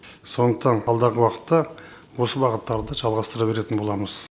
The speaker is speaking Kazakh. сондықтан алдағы уақытта осы бағыттарды жалғастыра беретін боламыз